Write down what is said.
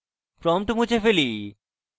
prompt মুছে ফেলি